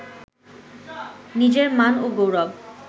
নিজের মান ও গৌরব